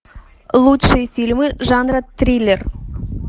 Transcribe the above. лучшие фильмы жанра триллер